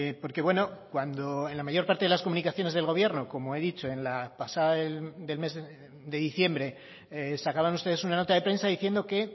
porque bueno cuando en la mayor parte de las comunicaciones del gobierno como he dicho en la pasada del mes de diciembre sacaban ustedes una nota de prensa diciendo que